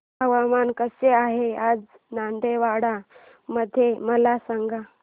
हवामान कसे आहे आज दांतेवाडा मध्ये मला सांगा